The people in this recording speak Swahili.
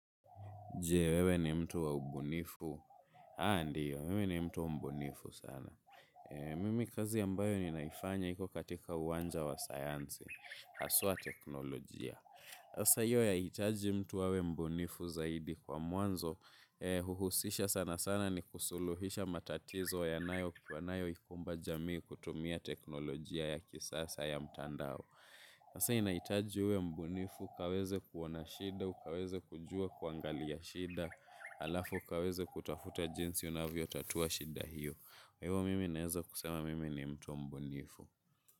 Je wewe ni mtu wa umbunifu. ah ndio, mimi ni mtu wa mbunifu sana. Mimi kazi ambayo ninaifanya iko katika uwanja wa sayansi. Haswa teknolojia. Sasa hiyo yahitaji mtu awe mbunifu zaidi kwa mwanzo. Huhusisha sana sana ni kusuluhisha matatizo yanayo yanayo ikumba jamii kutumia teknolojia ya kisasa ya mtandao. Hasa inahitaji uwe mbunifu, ukaweze kuona shida, ukaweze kujua kuangalia shida. Alafu, ukaweze kutafuta jinsi unavyotatua shida hiyo kwa hivyo mimi naeza kusema mimi ni mtu mbunifu.